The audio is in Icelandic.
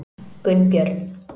Gunnbjörn